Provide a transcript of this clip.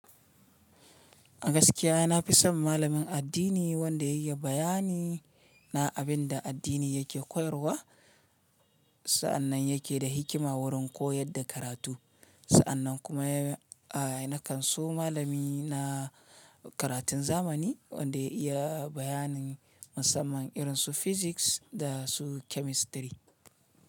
A gaskiya na fi son malamin addini wanda ya iya bayani na abin da addini yake koyarwa. Sa'annan yake da hikima wurin koyar da karatu. Sa'annan kuma, aa nakan so malami na karatun zamani wanda ya iya bayanin musamman irin su physics da su chemistry.